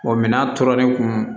minɛn tora ne kun